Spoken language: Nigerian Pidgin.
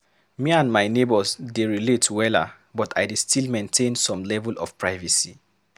Me and my neighbors dey relate wella, but I dey still maintain some level of privacy.